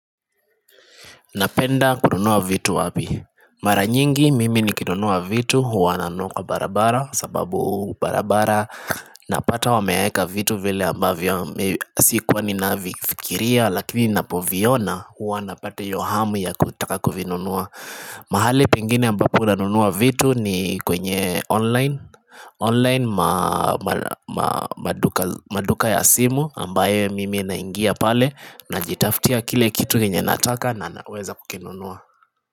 Napenda kununua vitu wapi Mara nyingi mimi nikinunua vitu hua nanunua kwa barabara kwa sababu barabara Napata wameweka vitu vile ambavyo sikuwa ninafikiria lakini ninapoviona huwa napata hiyo hamu ya kutaka kuvinunua mahali pengine ambapo nanunua vitu ni kwenye online online maduka ya simu ambaye mimi naingia pale najitaftia kile kitu yenye nataka na naweza kukinunua.